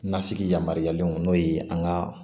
Nasigi yamaruyalen n'o ye an ka